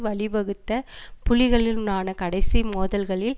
வழி வகுத்த புலிகளின்னுனான கடைசி மோதல்களில்